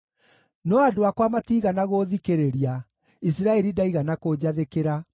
“No andũ akwa matiigana gũũthikĩrĩria; Isiraeli ndaigana kũnjathĩkĩra.